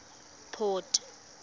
port